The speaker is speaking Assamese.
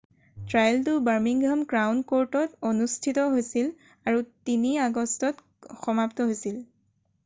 ট্ৰায়েলটো বাৰ্মিংহাম ক্ৰাউন কৰ্টত অনুষ্ঠিত হৈছিল আৰু ৩ আগষ্টত সমাপ্ত হৈছিল৷